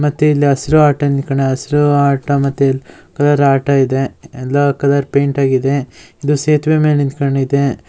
ಮತ್ತೆ ಇಲ್ ಆಟ ನಿಥಿಕೊಂಡ್ ಹಸ್ರು ಆಟ ಮತ್ತೆ ಇಲ್ ಆಟೋ ಇದೆ ಎಲ್ಲ ಕಲರ್ ಪೈಂಟ್ ಆಗಿದೆ ಇದು ಸೇತುವೆ ಮೇಲ ನಿಥಿಕೊಂಡ್ ಅಯ್ತೆ.